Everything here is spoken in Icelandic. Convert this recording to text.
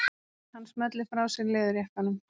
Hann smellir frá sér leðurjakkanum.